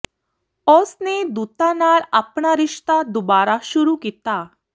ਉਸ ਨੇ ਦੂਤਾਂ ਨਾਲ ਆਪਣਾ ਰਿਸ਼ਤਾ ਦੁਬਾਰਾ ਸ਼ੁਰੂ ਕੀਤਾ